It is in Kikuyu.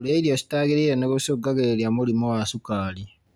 kũria irio citaagĩrĩire nĩgũcungagĩrĩria mũrimũ wa cukari.